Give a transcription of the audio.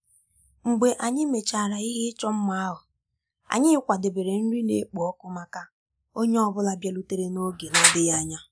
Mgbe anyị mechara ihe ịchọ mma ahụ, anyị kwadebere nri na-ekpo ọkụ maka onye ọ bụla bịarutere n'oge na-adịghị anya